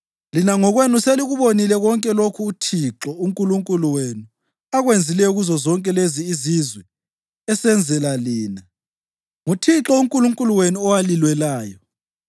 Lina ngokwenu selikubonile konke lokho uThixo uNkulunkulu wenu akwenzileyo kuzozonke lezi izizwe esenzela lina; nguThixo uNkulunkulu wenu owalilwelayo.